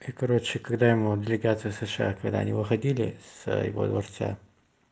и короче когда ему облигации сша когда они выходили с его дворца